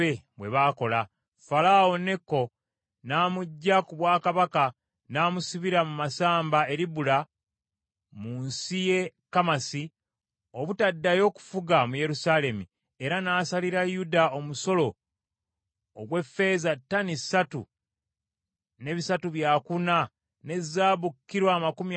Falaawo Neko n’amuggya ku bwakabaka n’amusibira mu masamba e Libula mu nsi y’e Kamasi obutaddayo kufuga mu Yerusaalemi, era n’asalira Yuda omusolo ogw’effeeza ttani ssatu ne bisatu byakuna ne zaabu kilo amakumi asatu mu nnya.